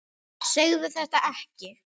Segðu þetta ekki.